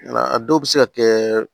A dɔw bɛ se ka kɛ